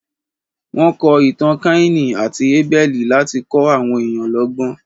Wọ́n kọ Ìtàn Káínì àti Abẹ́lì láti kọ́ àwọn èèyàn lọ́gbọ́n.